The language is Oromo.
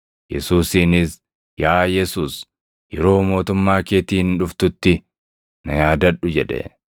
Yesuusiinis, “Yaa Yesuus, yeroo mootummaa keetiin dhuftutti na yaadadhu” jedhe.